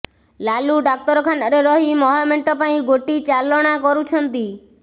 ଲାଲୁ ଡାକ୍ତରଖାନାରେ ରହି ମହାମେଣ୍ଟ ପାଇଁ ଗୋଟି ଚାଲଣା କରୁଛନ୍ତି